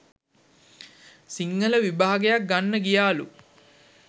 සිංහල විභාගයක් ගන්න ගියාලු.